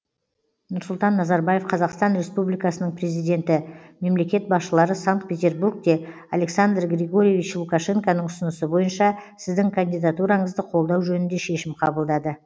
нұрсұлтан назарбаев қазақстан республикасының президенті мемлекет басшылары санкт петербургте александр григорьевич лукашенконың ұсынысы бойынша сіздің кандидатураңызды қолдау жөнінде шешім қабылдады